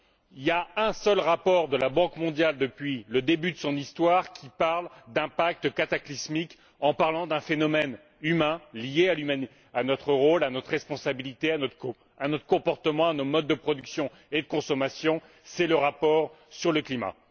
Il y a un seul rapport de la Banque mondiale, depuis le début de son histoire, qui parle d'impact cataclysmique en parlant d'un phénomène humain lié à notre rôle, à notre responsabilité, à notre comportement, à nos modes de production et de consommation c'est le rapport sur le climat.